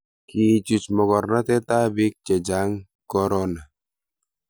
kiichuch mokornatetab biik che chang' korona